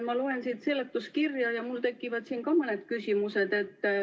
Ma loen siin seletuskirja ja mul tekivad ka mõned küsimused.